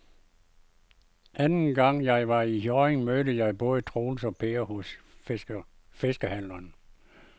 Anden gang jeg var i Hjørring, mødte jeg både Troels og Per hos fiskehandlerne.